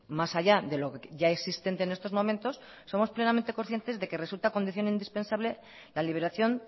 más allá de lo ya existente en estos momentos somos plenamente conscientes de que resulta condición indispensable la liberación